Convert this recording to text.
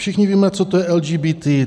Všichni víme, co to je LGBT.